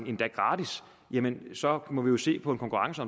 endda gratis så må vi jo se på en konkurrence